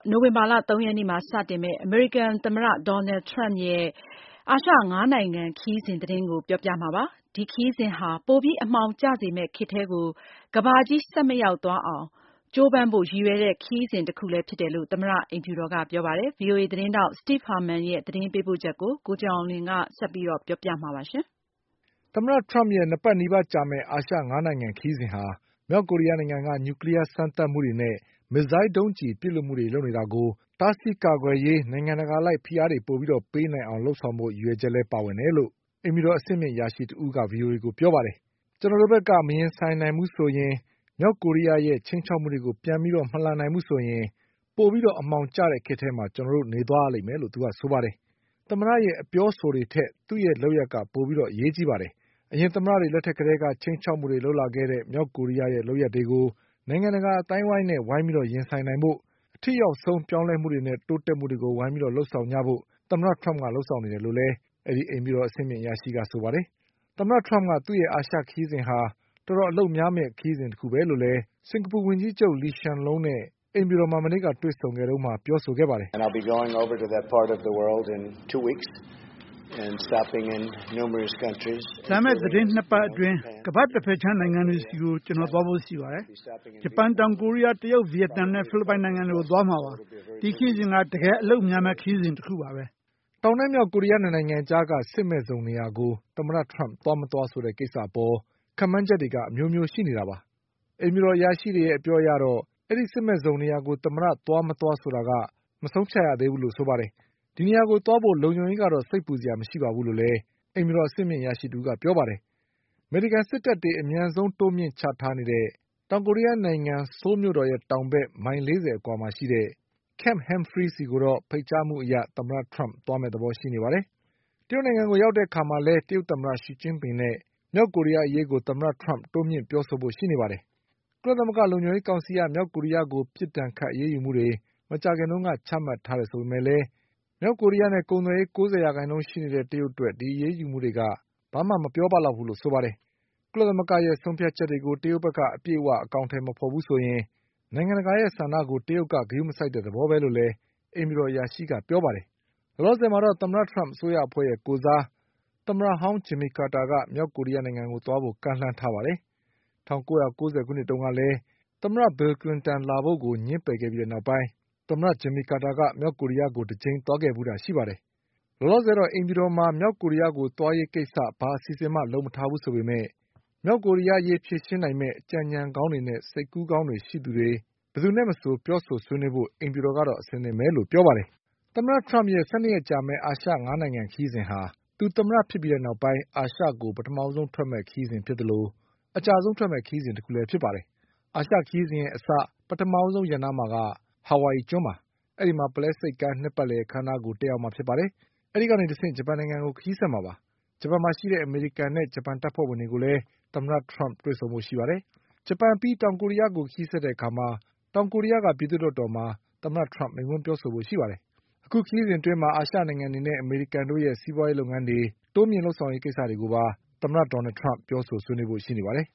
နိုဝင်ဘာလ ၃ရက်နေ့မှာစတင်မှာဖြစ်ပါတယ်။ ဒီခရီးစဉ်ဟာ ပိုပြီး အမှောင်ကျစေမယ့်ခေတ်ထဲကို ကမ္ဘာကြီးဆက်မရောက်သွားအောင်ကြိုးပမ်းဖို့ရည်ရွယ်တဲ့ခရီးစဉ်တခုလည်းဖြစ် တယ်လို့ သမ္မတအိမ်ဖြူတော်ကပြောပါတယ်။ ဒီအကြောင်း ဗွီအိုအေသတင်းထောက် Steve Herman ရဲ့သတင်းပေးပို့ ချက်ကို ကိုကျော်အောင်လွင်က ဆက်ပြီးပြောပြပါလိမ့်မယ်။ သမ္မတထရမ့်ရဲ့၂ပတ်နီးပါးကြာမယ့် အာရှ၅နိုင်ငံခရီးစဉ်ဟာ မြောက်ကိုရီးယားနိုင်ငံက နျူကလီးယားစမ်းသပ်မှုတွေနဲ့ မစ်ဇိုင်းဒုံးကျည်ပစ်လွှတ်မှုတွေလုပ်နေတာကို တားဆီးကာကွယ်ရေး နိုင်ငံတကာအလိုက်ဖိအားတွေပိုပြီးပေးနိုင်အောင် လုပ်ဆောင်ဖို့ရည်ရွယ်ချက်လည်းပါဝင်တယ်လို့ အိမ်ဖြူတော်အဆင့်မြင့်အရာရှိတဦးကပြောပါတယ်။ "ကျနော်တို့ ဘက်က မရင်ဆိုင်နိုင်ဘူးဆိုရင်၊ မြောက်ကိုရီးယားရဲ့ချိန်းခြောက်မှုတွေကို ပြန်ပြီး မလှန်နိုင်ဘူးဆိုရင် ပိုပြီးအမှောင်ကျ တဲ့ခေတ်ထဲမှာကျနော်တို့နေသွားရလိမ့်မယ်"လို့ဆိုပါတယ်။ သမ္မတရဲ့အပြောအဆိုတွေထက် သူ့ရဲ့လုပ်ရပ်တွေက ပိုပြီး အရေးကြီးပါတယ်။ အရင်သမ္မတတွေလက်ထက်ကတည်းက ချိန်းခြောက်မှုတွေလုပ်လာခဲ့တဲ့ မြောက်ကိုရီးယားရဲ့လုပ်ရပ် တွေကို နိုင်ငံတကာအသိုင်းအဝိုင်းနဲ့ ဝိုင်းပြီးရင်ဆိုင်နိုင်ဖို့ အထိရောက်ဆုံးပြောင်းလဲမှုနဲ့တိုးတက်မှုတွေကို ဝိုင်းပြီးလုပ် ဆောင်ကြဖို့သမ္မတထရမ့်က လုပ်ဆောင်နေတယ်လို့လည်း အိမ်ဖြူတော်အဆင့်မြင့်အရာရှိကပြောပါတယ်။ သမ္မတ ထရမ့်က သူ့ရဲ့ အာရှခရီးစဉ်က တော်တော်အလုပ်များမယ့်ခရီးစဉ်တခုပဲလို့ စင်္ကာပူဝန်ကြီးချုပ် လီရှန်လုံးနဲ့အိမ်ဖြူ တော်မှာမနေ့ကတွေ့ဆုံခဲ့တုန်းက ပြောခဲ့ပါတယ်။ "လာမယ့်သတင်း၂ပတ်အတွင်း ကမ္ဘာ့တဘက်ခြမ်းနိုင်ငံတွေဆီ ကိုကျနော်သွားဖို့ရှိပါတယ်။ ဂျပန်၊ တောင်ကိုရီးယား၊ တရုတ်၊ဗီယက်နမ်နဲ့ဖိလစ်ပိုင်နိုင်ငံတွေကိုသွားမှာပါ။ ဒီခရီးစဉ်က တကယ်အလုပ်များမယ့်ခရီးစဉ်တခုပါပဲ။" တောင်နဲ့မြောက်ကိုရီးယား၂နိုင်ငံအကြားက စစ်မဲ့ဇုံနေရာကို သမ္မတထရမ့်သွား ၊ မသွားဆိုတဲ့ ကိစ္စအပေါ် ခပ်မှန်းချက် တွေက အမျိုးမျိုးရှိနေတာပါ။ အိမ်ဖြူတော်အရာရှိတွေရဲ့အပြောအရတော့ အဲဒီစစ်မဲ့ဇုံနေရာကို သမ္မတသွား မသွားဆို တာ မဆုံးဖြတ်ရသေးဘူးလို့ဆိုပါတယ်။ ဒီနေရာကိုသွားဖို့ လုံခြုံရေးကတော့ စိတ်ပူစရာမရှိပါဘူးလို့လည်း အိမ်ဖြူတော် အဆင့်မြင့်အရာရှိ တဦးကပြောပါတယ်။ အမေရိကန်စစ်တပ်တွေအမြန်ဆုံးတိုးမြင့်ချထားနေတဲ့တောင်ကိုရီးယားနိုင်ငံက Camp Humphries ဆီကိုတော့ ဖိတ်ကြားမှုအရသမ္မတထရမ့်သွားမယ့်သဘောရှိပါတယ်။ တရုတ်နိုင်ငံကိုရောက်တဲ့အခါ မှာလည်း တရုတ်သမ္မတရှီကျင်းပင်နဲ့မြောက်ကိုရီးယားအရေးကို တိုးမြင့်ပြောဆိုဖို့ရှိပါတယ်။ ကုလသမဂ္ဂလုံခြုံရေးကောင်စီက မြောက်ကိုရီးယားကို ပစ်ဒဏ်ခတ်အရေးယူမှုတွေ မကြာခင်တုန်းကချမှတ်ထားတယ် ဆိုပေမဲ့လည်း မြောက်ကိုရီးယားနဲ့ကုန်သွယ်ရေး၉၀ရာခိုင်နှုန်းရှိနေတဲ့ တရုတ်အတွက် ဒီအရေးယူမှုတွေက ဘာမှမပြောပ လောက်ဘူးလို့ဆိုပါတယ်။ ကုလသမဂ္ဂရဲ့ဆုံးဖြတ်ချက်တွေကို တရုတ်ဘက်က အပြည့်အဝအကောင်အထည်မဖေါ်ဘူး ဆိုရင် နိုင်ငံတကာရဲ့ဆန္ဒကို တရုတ်က ဂရုမစိုက်တဲ့သဘောပဲလို့လည်းအိမ်ဖြူတော်အရာရှိကပြောပါတယ်။ လောလောဆယ်တော့ သမ္မတထရမ့်အစိုးရအဖွဲ့ရဲ့ကိုယ်စား သမ္မတဟောင်း ဂျင်မီကာတာက မြောက်ကိုရီးယားကို သွားဖို့ ကမ်းလှမ်းထားပါတယ်။ ၁၉၉၀ခုနှစ်တုန်းကလည်း သမ္မတဘီလ်ကလင်တန်ကိုလာဖို့ငြင်းပယ်ခဲ့ပြီးနောက်ပိုင်း သမ္မတဂျင်မီကာတာက မြောက်ကိုရီးယားကို တကြိမ်သွားခဲ့ဖူးတာရှိပါတယ်။ လောလောဆယ်တော့ အိမ်ဖြူတော်မှာ မြောက်ကိုရီးယားကို သွားရေးကိစ္စဘာအစီအစဉ်မှ လုပ်မထားဘူးဆိုပေမဲ့ မြောက်ကိုရီးယားအရေးဖြေရှင်းနိုင်မယ့် အကြံ အညံကောင်းတွေနဲ့စိတ်ကူးကောင်းတွေရှိသူတွေဘယ်သူနဲ့မဆိုပြောဆိုဆွေးနွေးဖို့အိမ်ဖြူတော်က အဆင်သင့်ပဲလို့ဆို ပါတယ်။ သမ္မတထရမ့်ရဲ့ ၁၂ရက်ကြာမယ့် အာရှ၅နိုင်ငံခရီးစဉ်ဟာ သူသမ္မတဖြစ်ပြီးနောက်ပိုင်း အာရှကိုပထမဆုံးထွက်ခွါမယ့် ခရီးစဉ်ဖြစ်သလို အကြာဆုံးထွက်မယ့်ခရီးစဉ်တခုလည်းဖြစ်ပါတယ်။ အာရှခရီးစဉ်အစ ပထမဆုံးရပ်နားမှာက ဟာဝိုင်အီ ကျွန်းပါ။ အဲဒီမှာ ပုလဲဆိပ်ကမ်းနှစ်ပတ်လည်အခန်းအနားကို တက်ရောက်မှာဖြစ်ပါတယ်။ အဲဒီကနေတဆင့် ဂျပန်နိုင်ငံကို ခရီးဆက်မှာပါ။ ဂျပန်မှာရှိတဲ့အမေရိကန်နဲ့ ဂျပန်တပ်ဖွဲ့တွေကိုလည်း သမ္မတထရမ့်တွေ့ဆုံဖို့ရှိပါတယ်။ ဂျပန်အပြီး တောင်ကိုရီးယားကိုခရီးဆက်တဲ့အခါ တောင်ကိုရီးယားပြည်သူ့လွှတ်တော်မှာ သမ္မတထရမ့်မိန့်ခွန်းပြောဆိုဖို့ရှိပါတယ်။ သမ္မတရဲ့အာရှခရီးစဉ်အတွင်း အာရှနိုင်ငံတွေနဲ့အမေရိကန်တို့ စီးပွါးရေးလုပ်ငန်းတွေတိုးမြင့်လုပ်ဆောင်ရေးကိစ္စတွေ ကိုပါ သမ္မတထရမ့်ပြောဆိုဆွေးနွေးသွားဖို့ရှိနေပါတယ်